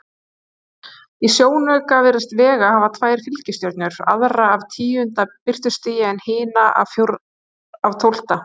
Í sjónauka virðist Vega hafa tvær fylgistjörnur, aðra af tíunda birtustigi en hina af tólfta.